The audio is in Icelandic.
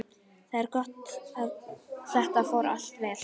Það er gott að þetta fór allt vel.